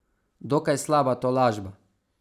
Dokaj slaba tolažba!